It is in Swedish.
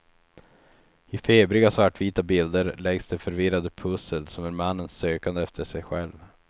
I febriga svartvita bilder läggs det förvirrade pussel som är mannens sökande efter sig själv.